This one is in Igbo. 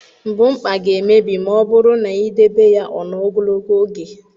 Mbukpa ga-emebi ma ọ bụrụ na i debe ya ọ nọọ ogologo oge.